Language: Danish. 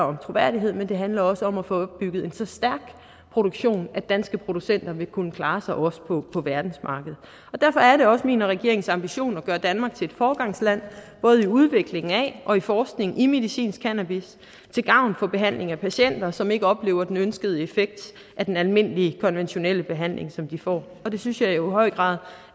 om troværdighed men det handler også om at få bygget en så stærk produktion at danske producenter vil kunne klare sig også på på verdensmarkedet derfor er det også min og regeringens ambition at gøre danmark til et foregangsland både i udvikling af og i forskningen i medicinsk cannabis til gavn for behandlingen af patienter som ikke oplever den ønskede effekt af den almindelige konventionelle behandling som de får og det synes jeg jo i høj grad